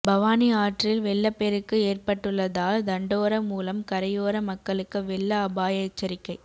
பவானி ஆற்றில் வெள்ளப்பெருக்கு ஏற்பட்டுள்ளதால் தண்டோரா மூலம் கரையோர மக்களுக்கு வெள்ள அபாய எச்சரிக்கை